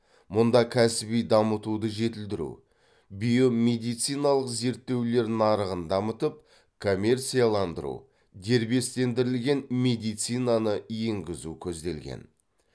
мұнда кәсіби дамытуды жетілдіру биомедициналық зерттеулер нарығын дамытып коммерцияландыру дербестендірілген медицинаны енгізу көзделген